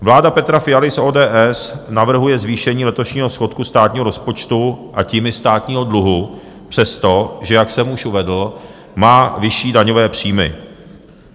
Vláda Petra Fialy z ODS navrhuje zvýšení letošního schodku státního rozpočtu, a tím i státního dluhu, přestože, jak jsem už uvedl, má vyšší daňové příjmy.